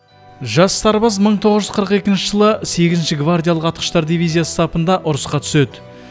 жас сарбаз мың тоғыз жүз қырық екінші жылы сегізінші гвардиялық атқыштар дивизиясы сапында ұрысқа түседі